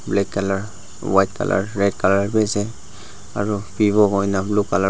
black colour white colour Red colour bhi ase aru vivo hoina blue colour --